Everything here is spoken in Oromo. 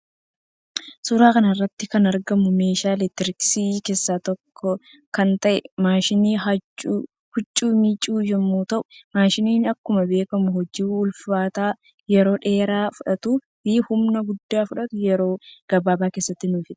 Suuraa kanarratti kan argamu meeshaa elektirooniksii kessaa tokko kan ta'e maashina huccuu miiccu yommuu ta'u maashiniin akkuma beekamu hojii ulfaata yeroo dheeraa fudhatu fi humna guddaa fudhatu yeroo gabaaba keessatti nu fixa.